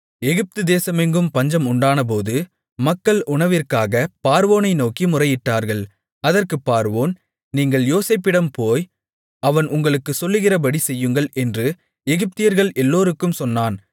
எகிப்துதேசமெங்கும் பஞ்சம் உண்டானபோது மக்கள் உணவுக்காகப் பார்வோனை நோக்கி முறையிட்டார்கள் அதற்கு பார்வோன் நீங்கள் யோசேப்பிடம் போய் அவன் உங்களுக்குச் சொல்லுகிறபடி செய்யுங்கள் என்று எகிப்தியர்கள் எல்லோருக்கும் சொன்னான்